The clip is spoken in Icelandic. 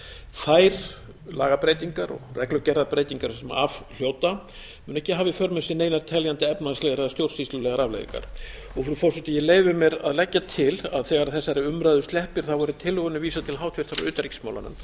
þær lagabreytingar og reglugerðarbreytingar sem af hljóta munu ekki hafa í för með sér einar teljandi efnahagslegar eða stjórnsýslulegar afleiðingar frú forseti ég leyfi mér að leggja til að þegar þessari umræðu sleppir verði tillögunni vísað til háttvirtrar utanríkismálanefndar